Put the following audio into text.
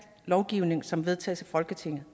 lovgivning som vedtages af folketinget